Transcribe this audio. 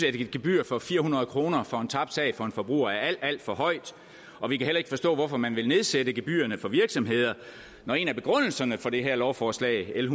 et gebyr på fire hundrede kroner for en tabt sag for en forbruger er alt alt for højt og vi kan heller ikke forstå hvorfor man vil nedsætte gebyrerne for virksomheder når en af begrundelserne for det her lovforslag l